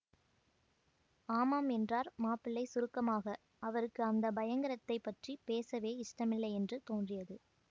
ஆமாம் என்றார் மாப்பிள்ளை சுருக்கமாக அவருக்கு அந்த பயங்கரத்தைப் பற்றி பேசவே இஷ்டமில்லையென்று தோன்றியது